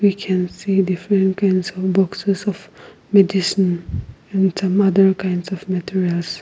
we can see different kinds on boxes of medicine and some other kinds of .